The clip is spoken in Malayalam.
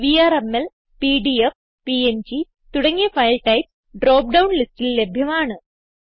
വിആർഎംഎൽ പിഡിഎഫ് പിഎൻജി തുടങ്ങിയ ഫൈൽ ടൈപ്സ് ഡ്രോപ്പ് ഡൌൺ ലിസ്റ്റിൽ ലഭ്യമാണ്